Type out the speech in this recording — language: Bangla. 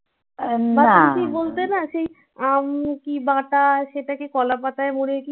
বলতে না সেই আম কি বাটা সেটাকে কলাপাতায় মুরে